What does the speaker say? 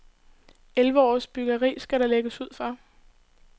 Elleve års byggeri skal der lægges ud for.